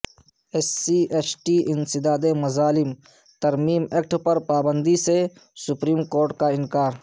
S ST ایس ٹی انسداد مظالم ترمیم ایکٹ پر پابندی سے سپریم کورٹ کاانکار